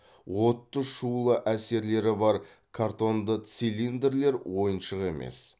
отты шулы әсерлері бар картонды цилиндрлер ойыншық емес